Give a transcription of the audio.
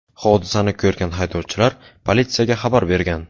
Hodisani ko‘rgan haydovchilar politsiyaga xabar bergan.